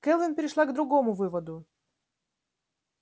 кэлвин пришла к другому выводу